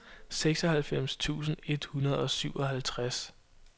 seksoghalvfems tusind et hundrede og syvoghalvtreds